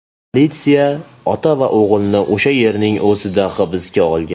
Politsiya ota va o‘g‘ilni o‘sha yerning o‘zida hibsga olgan.